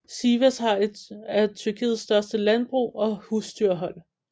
Sivas har et af Tyrkiets største landbrug og husdyrhold